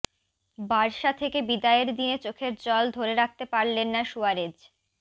Barca থেকে বিদায়ের দিনে চোখের জল ধরে রাখতে পারলেন না সুয়ারেজ